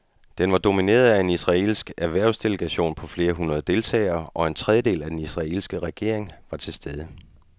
Den var domineret af en israelsk erhvervsdelegation på flere hundrede deltagere, og en tredjedel af den israelske regering var til stede.